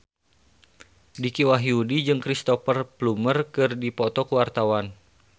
Dicky Wahyudi jeung Cristhoper Plumer keur dipoto ku wartawan